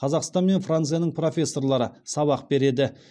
қазақстан мен францияның профессорлары сабақ береді